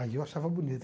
Aí eu achava bonito.